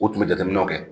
U tun bɛ jateminɛw kɛ